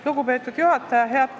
Lugupeetud juhataja!